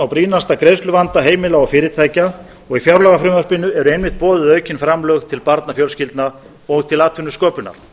brýnasta greiðsluvanda heimila og fyrirtækja í fjárlagafrumvarpinu eru einmitt boðuð aukin framlög til barnafjölskyldna og atvinnusköpunar